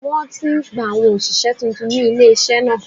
Wọ́n ti ń gba àwọn òṣìṣẹ́ tuntun ní ilé-iṣẹ́ náà